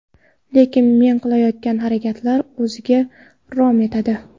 Lekin men qilayotgan harakatlar o‘ziga rom etadi.